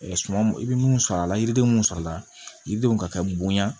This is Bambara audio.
suman i bɛ mun sɔrɔ a la yiriden mun sɔrɔ la yiridenw ka kɛ bonya